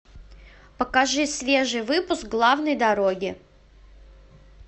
покажи свежий выпуск главной дороги